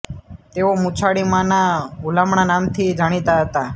તેઓ મૂછાળી મા ના હૂલામણાં નામથી જાણીતા હતા